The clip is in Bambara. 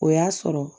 O y'a sɔrɔ